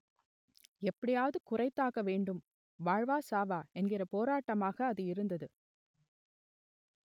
எப்படியாவது குறைத்தாக வேண்டும் வாழ்வா சாவா என்கிற போராட்டமாக அது இருந்தது